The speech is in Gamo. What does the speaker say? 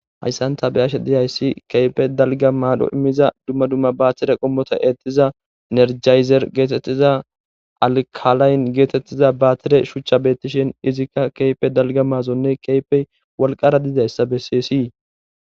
Hayssanta beyashe diyayssi keype dalga maadho immiza dumma dumma baatire qommota eettiza nerjayzer geetettiza alkalayn geetettiza baatire shuchcha beettishin izikka keype dalga maazonne keypey walqara didayssa besseesii.